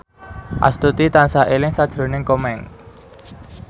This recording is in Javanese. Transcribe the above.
Astuti tansah eling sakjroning Komeng